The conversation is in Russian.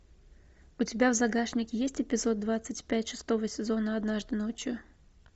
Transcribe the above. у тебя в загашнике есть эпизод двадцать пять шестого сезона однажды ночью